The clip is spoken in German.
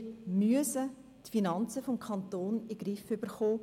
Wir müssen die Finanzen des Kantons in den Griff bekommen.